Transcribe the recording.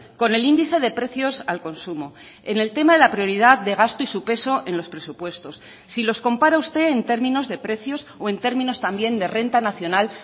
con el índice de precios al consumo en el tema de la prioridad de gasto y su peso en los presupuestos si los compara usted en términos de precios o en términos también de renta nacional